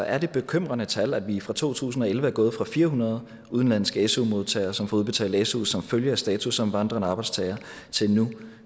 er det bekymrende tal at vi fra to tusind og elleve er gået fra fire hundrede udenlandske su modtagere som får udbetalt su som følge af status som vandrende arbejdstagere til nu